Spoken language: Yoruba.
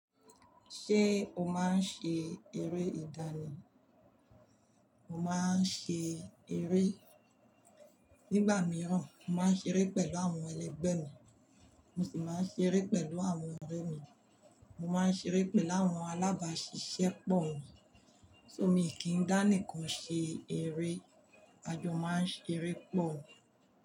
Ṣé o máa ń ṣe eré ìdánì? Mo máa ń ṣe eré. Nígbà mìíràn, mo máa ń ṣeré pẹ̀lú àwọn ẹlẹgbẹ́ mi, mo sì máa ń ṣeré pẹ̀lú àwọn ọ̀rẹ́ mi. Mo máa ń ṣeré pẹ̀lú àwọn alábáṣiṣẹ́ pọ̀ mi, so mi kì í dá nìkan ṣe eré. A jọ máa ń ṣeré pọ̀.